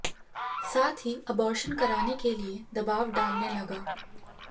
साथ ही अबॉर्शन कराने के लिए दबाव डालने लगा